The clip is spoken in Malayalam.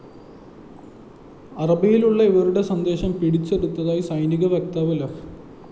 അറബിയിലുള്ള ഇവരുടെ സന്ദേശം പിടിച്ചെടുത്തതായി സൈനിക വക്താവ് ലഫ്